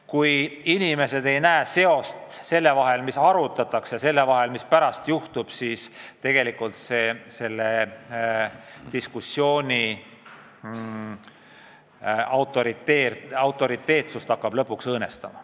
Kui inimesed ei näe seost selle vahel, mida arutatakse, ja mis pärast juhtub, siis see hakkab lõpuks selle diskussiooni autoriteetsust õõnestama.